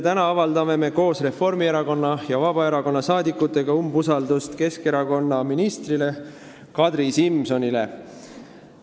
Täna avaldame koos Reformierakonna ja Vabaerakonnaga umbusaldust Keskerakonna ministrile Kadri Simsonile.